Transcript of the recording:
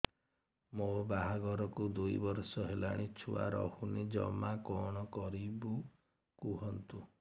ମୋ ବାହାଘରକୁ ଦୁଇ ବର୍ଷ ହେଲାଣି ଛୁଆ ରହୁନି ଜମା କଣ କରିବୁ କୁହନ୍ତୁ